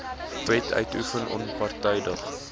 wet uitoefen onpartydig